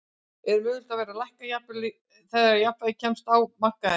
Er mögulegt að verðið lækki þegar jafnvægi kemst á á markaðnum?